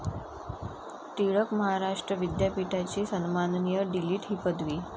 टिळक महाराष्ट्र विद्यापीठाची सन्माननीय डी.लिट. ही पदवी